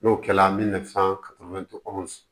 N'o kɛla n bɛna